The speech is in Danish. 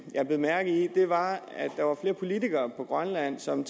jeg bed mærke i var at der var flere politikere i grønland som